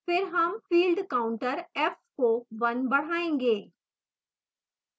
फिर हम field counter f को 1 बढ़ायेंगे